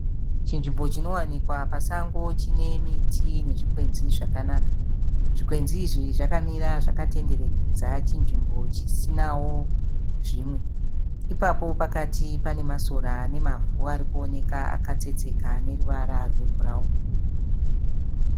Chinzvimbo chinowanikwa pasango chinemiti nezvikwenzi zvakanaka, zvikwenzi izvo zvakamira zvakatenderedza chinzvimbo chisinawo zvimwe. Ipapo pakatiparikuonekwa Masora nemavhu aneruvara rwebhurawuni.